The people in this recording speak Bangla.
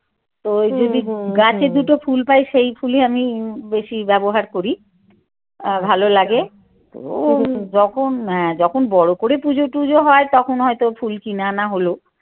তো গাছে দুটো ফুল পাই সেই ফুলই আমি বেশি ব্যবহার করি আহ ভালো লাগে ও যখন হ্যাঁ যখন বড় করে পুজো টুজো হয় তখন হয়তো ফুল কিনে আনা হল।